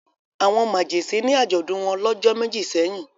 Àwọn màgẹ̀sín ní àjọ̀dún wọn lọ́jọ́ méjì sẹ́yìn.